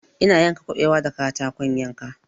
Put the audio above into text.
Ina yanka kuɓewa da katakon yanka